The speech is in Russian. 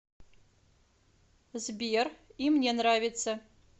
сбер и мне нравится